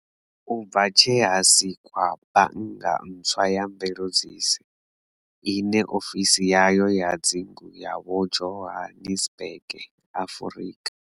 U bva tshe ha sikwa bannga ntswa ya mveledziso, ine ofisi yayo ya dzingu ya vho Johannesburg, Afrika.